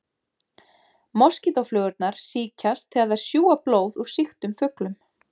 Moskítóflugurnar sýkjast þegar þær sjúga blóð úr sýktum fuglum.